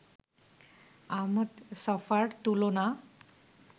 আহমদ ছফার তুলনা